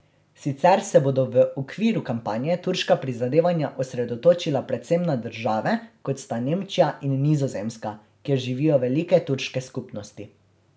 Sicer se bodo v okviru kampanje turška prizadevanja osredotočila predvsem na države, kot sta Nemčija in Nizozemska, kjer živijo velike turške skupnosti.